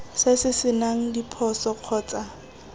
se se senang diphoso kgotsa